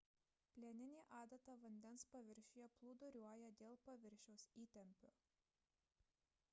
plieninė adata vandens paviršiuje plūduriuoja dėl paviršiaus įtempio